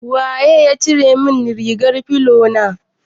Waye ya cire min rigar filo na?